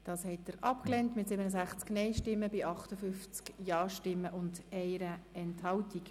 Sie haben die Ziffer 2 als Postulat abgelehnt mit 67 Nein- zu 58 Ja-Stimmen bei 1 Enthaltung.